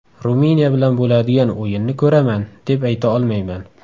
Ruminiya bilan bo‘ladigan o‘yinni ko‘raman, deb ayta olmayman.